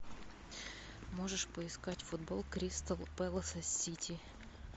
можешь поискать футбол кристал пэласа с сити